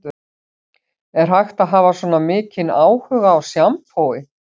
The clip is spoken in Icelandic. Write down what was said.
Er hægt að hafa svona mikinn áhuga á sjampói